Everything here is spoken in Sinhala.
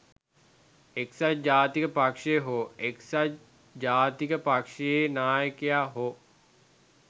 එක්සත් ජාතික පක්ෂය හෝ එක්සත් ජාතික පක්ෂයේ නායකයා හෝ